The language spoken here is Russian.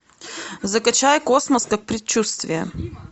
закачай космос как предчувствие